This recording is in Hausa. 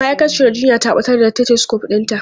Ma'aikaciyar jinya ta batar da stetosukop ɗinta.